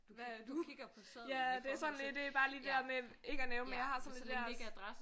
Hvad du ja det er sådan lidt det bare det der med ikke at nævne men jeg har sådan det der